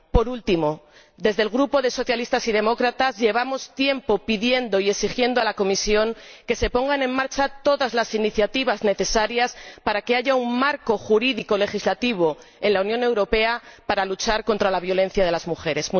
Por último, desde el Grupo de socialistas y demócratas llevamos tiempo pidiendo y exigiendo a la Comisión que se emprendan todas las iniciativas necesarias para que haya un marco jurídico legislativo en la Unión Europea para luchar contra la violencia sobre las mujeres.